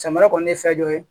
Samara kɔni ye fɛn dɔ ye